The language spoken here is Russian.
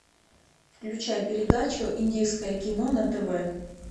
включай передачу индийское кино на тв